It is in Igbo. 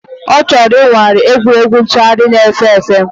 Ọ chọrọ ịnwale egwuregwu ntụgharị na-efe efe